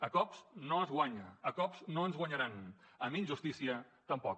a cops no es guanya a cops no ens guanyaran amb injustícia tampoc